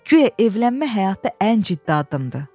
Guya evlənmək həyatda ən ciddi addımdır.